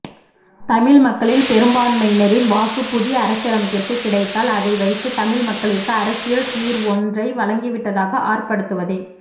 தமிழ் மக்களில் பெரும்பான்மையினரின் வாக்கு புதிய அரசியலமைப்பிற்கு கிடைத்தால் அதை வைத்து தமிழ் மக்களிற்கு அரசியல் தீர்வொன்றைவழங்கிவிட்டதாக அர்த்தப்படுத்துவதே